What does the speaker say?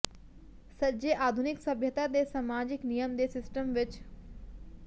ਸੱਜੇ ਆਧੁਨਿਕ ਸਭਿਅਤਾ ਦੇ ਸਮਾਜਿਕ ਨਿਯਮ ਦੇ ਸਿਸਟਮ ਵਿੱਚ